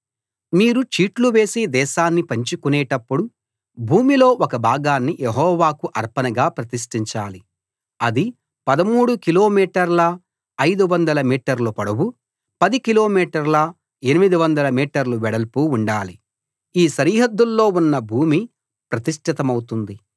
మీరు చీట్లు వేసి దేశాన్ని పంచుకునేటప్పుడు భూమిలో ఒక భాగాన్ని యెహోవాకు అర్పణగా ప్రతిష్ఠించాలి అది 13 కిలోమీటర్ల 500 మీటర్ల పొడవు 10 కిలోమీటర్ల 800 మీటర్ల వెడల్పు ఉండాలి ఈ సరిహద్దుల్లో ఉన్న భూమి ప్రతిష్ఠితమౌతుంది